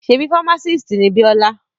Ṣebí fámásìst ni Bíọ́lá?